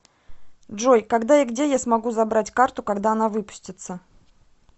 джой когда и где я смогу забрать карту когда она выпустится